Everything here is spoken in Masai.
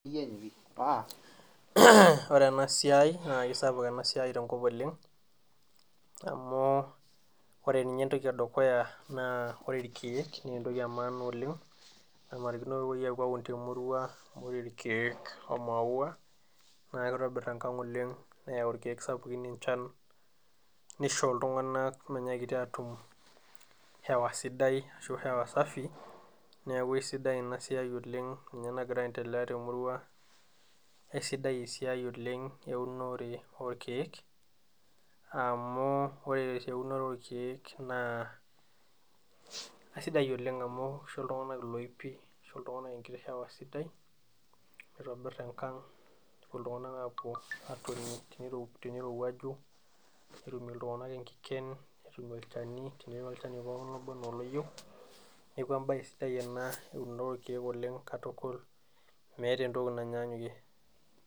Ore enasiai nakeisapuk enasiai tenkop oleng amu ore nye entoki edukuya ore irkiek na entoki edukuya oleng nannarikino nepuoi aun temurua amu ore rkiek omaua na kitobir enkang oleng, neyau irkiek sapukin enchan nisho ltunganak minyakiti atum hewa sidai hewa safi neaku aisidai inasiai oleng ninye nagira aiendelea temurua, aisidai esiai eunore orkiek amu ore eunoto orkiek na aisidai amu kisho ltunganak loipi, kisho ltunganak enkiti hewa sidai nitobir enkang nepuo ltunganak atoni tenirowuaju netum ltunganak nkiken ,netum olchani tenetii olchani obo ana oloyieu neaku embau sidai ena eunore orkiek katukul, meeta entoki nanyanyukie.